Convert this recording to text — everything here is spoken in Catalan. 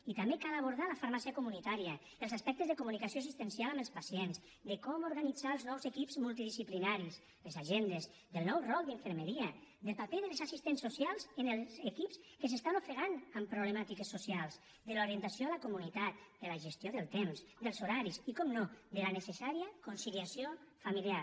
i també cal abordar la farmàcia comunitària els aspectes de comunicació assistencial amb els pacients de com organitzar els nous equips multidisciplinaris les agendes del nou rol d’infermeria del paper dels assistents socials en els equips que s’estan ofegant amb problemàtiques socials de l’orientació a la comunitat de la gestió del temps dels horaris i per descomptat de la necessària conciliació familiar